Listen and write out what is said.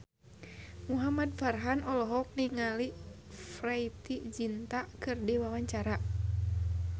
Muhamad Farhan olohok ningali Preity Zinta keur diwawancara